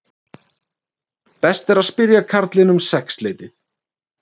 Best að spyrja karlinn um sexleytið